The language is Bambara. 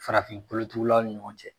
Farafin kolotugulaw ni ɲɔgɔn cɛ